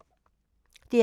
DR P2